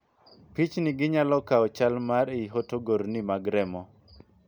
Pichnigi nyalo kawo chal mar ii hotogrni mag remo